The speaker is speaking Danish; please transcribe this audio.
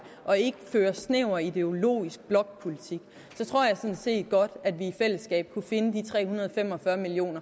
og ikke føre snæver ideologisk blokpolitik så tror jeg sådan set godt at vi i fællesskab kunne finde de tre hundrede og fem og fyrre million